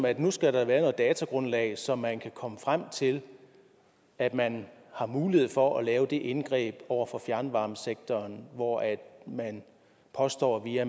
at nu skal der være noget datagrundlag så man kan komme frem til at man har mulighed for at lave det indgreb over for fjernvarmesektoren hvor man påstår via